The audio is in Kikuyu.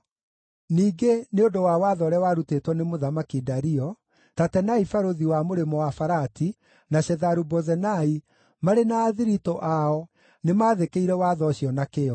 Ningĩ, nĩ ũndũ wa watho ũrĩa warutĩtwo nĩ Mũthamaki Dario, Tatenai barũthi wa Mũrĩmo-wa-Farati, na Shetharu-Bozenai, marĩ na athiritũ ao nĩmathĩkĩire watho ũcio na kĩyo.